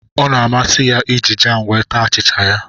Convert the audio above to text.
Ọ na-amasị ya iji jam wee taa achịcha ya